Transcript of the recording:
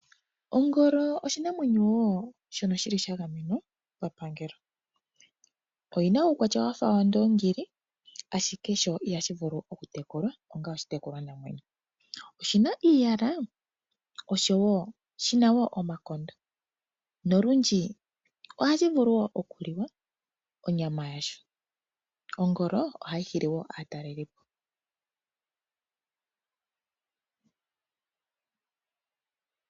Ongolo oshinamwenyo wo shono shili sha gamenwa papangelo. Oyi na uukwatya wa fa wandoongili, ashike sho ihashi vulu oku tekulwa onga oshitekulwanamwenyo. Oshi na iiyala noshi na omakondo nolundji ohashi vulu oku liwa onyama yasho. Ohashi hili wo aatalelipo.